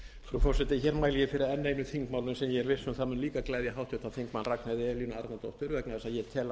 er l líka viss um að mun líka gleðja háttvirtur þingmaður ragnheiði e árnadóttur vegna þess að ég